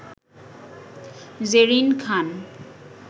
Zerin Khan